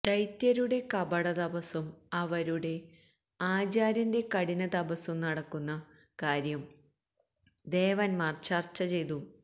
ദൈത്യരുടെ കപട തപസ്സും അവരുടെ ആചാര്യന്റെ കഠിനതപസ്സും നടക്കുന്ന കാര്യം ദേവന്മാര് ചര്ച്ച ചെയ്തു